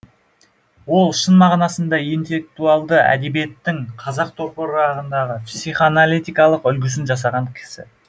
ол шын мағынасында интеллектуалды әдебиеттің қазақ топырағындағы психоаналитикалық үлгісін жасаған кісі